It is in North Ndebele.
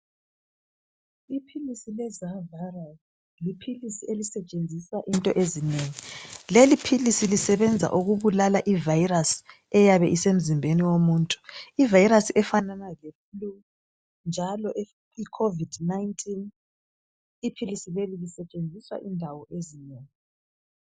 iphilisi le zaviral liphilisi leliphilisi lisetshenziswa into ezinengi leliphilisi lisetshenziswa ukubulala i virus eyabe isemzimbeni womuntu ivirus efanana le flue njalo i covid 19 iphilisi leli lisetshenziswa indawo ezinengi